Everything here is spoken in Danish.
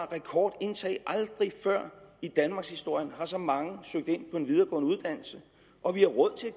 rekordindtag aldrig før i danmarkshistorien har så mange søgt ind på en videregående uddannelse og vi har råd til